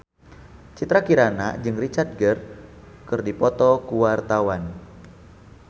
Citra Kirana jeung Richard Gere keur dipoto ku wartawan